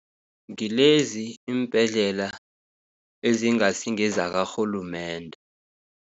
Ngilezi iimbhedlela ezingasi, ngezakarhulumende.